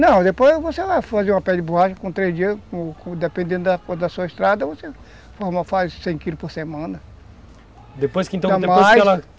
Não, depois você vai fazer uma pedra de borracha, com três dias, dependendo da da sua estrada, você faz cem quilos por semana, depois